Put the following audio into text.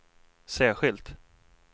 särskilt